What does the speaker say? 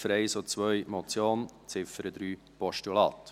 Ziffern 1 und 2 als Motion, Ziffer 3 als Postulat.